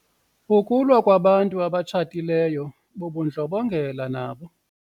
Ukulwa kwabantu abatshatileyo bubundlobongela nabo.